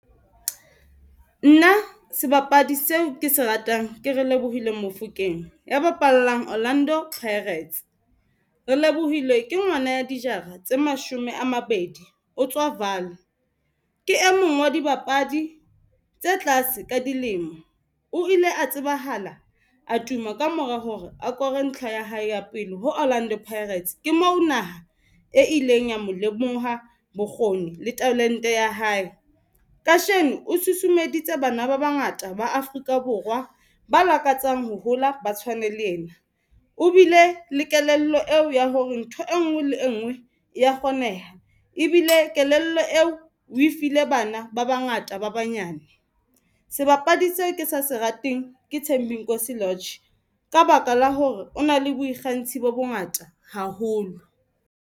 Nna sebapadi seo ke se ratang ke Relebohile Mofokeng ya bapallang Orlando Pirates. Relebohile ke ngwana ya dijara tse mashome a mabedi. O tswa Vaal ke e mong wa dibapadi tse tlase ka dilemo. O ile a tsebahala a tuma kamora hore akore ntlha ya hae ya pele ho Orlando Pirates ke moo naha e ileng ya mo lemoha bokgoni le talente ya hae. Kasheno o susumeditse bana ba bangata ba Afrika Borwa ba lakatsang ho hola ba tshwane le ena. O bile le kelello eo ya hore ntho enngwe le enngwe ya kgoneha ebile kelello eo o e file bana ba bangata ba banyane. Sebapadi seo ke sa se rateng ke Thembinkosi Lorch ka baka la hore o na le boikgantsho bo bongata haholo.